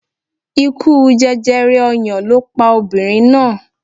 Ikú jẹjẹrẹ ọyàn ló pa obìnrin náà.